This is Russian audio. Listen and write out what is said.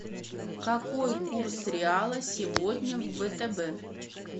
какой курс реала сегодня в втб